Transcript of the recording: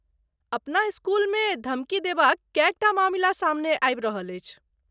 अपना स्कूलमे धमकी देबाक कएक टा मामिला सामने आबि रहल अछि।